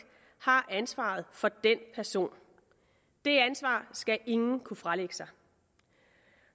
har ansvaret for den person det ansvar skal ingen kunne fralægge sig